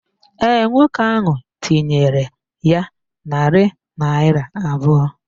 Ee, nwoke ahụ tinyere ya narị naịra abụọ